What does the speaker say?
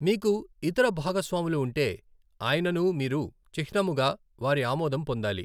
మీకు ఇతర భాగస్వాములు ఉంటే, అయిననూ మీరు చిహ్నముగా వారి ఆమోదం పొందాలి.